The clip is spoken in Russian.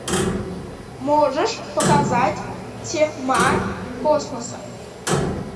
можешь показать тьма космоса